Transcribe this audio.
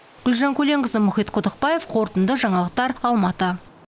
гүлжан көленқызы мұхит құдықбаев қорытынды жаңалықтар алматы